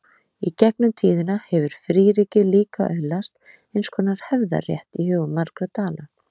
Í gegnum tíðina hefur fríríkið líka öðlast eins konar hefðarrétt í hugum margra Dana.